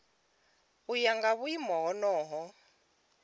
u ya nga vhuimo honoho